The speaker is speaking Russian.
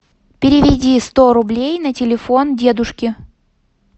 переведи сто рублей на телефон дедушки